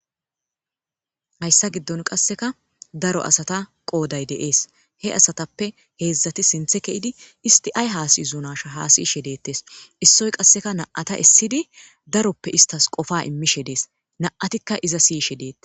hayssa giddon qasseka daro asata qooday de'es he asatappe heedzdzati sinthe keidi isti ay haasiizunasha haasiyishe deettes issoy qasseka naata issidi daroppe istas qofa immishe dees naatikka iza siyishe deette